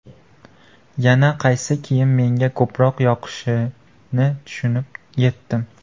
Yana qaysi kiyim menga ko‘proq yoqishini tushunib yetdim.